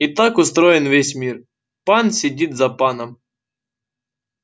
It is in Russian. и так устроен весь мир пан сидит за паном